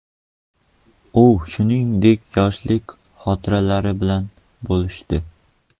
U shuningdek yoshlik xotiralari bilan bo‘lishdi.